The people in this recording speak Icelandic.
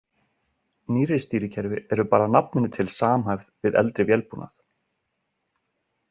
Nýrri stýrikerfi eru bara að nafninu til samhæfð við eldri vélbúnað.